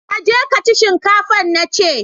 ka je ka ci shinkafan nace!